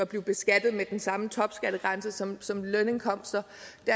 blive beskattet med den samme topskattegrænse som som lønindkomster